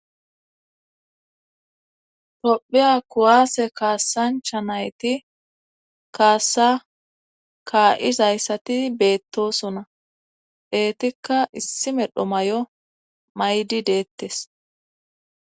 Pophiya kuwaase kaassancha nayti kaassa kaa7izayssati beettosona deetikka issi medho may7o maydi deettes